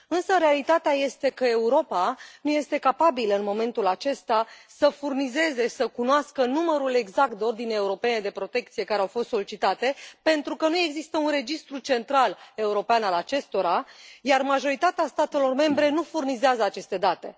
Însă realitatea este că Europa nu este capabilă în momentul acesta să furnizeze, să cunoască numărul exact de ordine europene de protecție care au fost solicitate, pentru că nu există un registru central european al acestora, iar majoritatea statelor membre nu furnizează aceste date.